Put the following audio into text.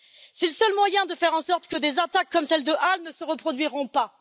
C'est le seul moyen de faire en sorte que des attaques comme celle de Halle ne se reproduisent pas.